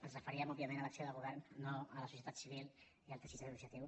ens referíem òbviament a l’acció de govern no a la societat civil i al teixit associatiu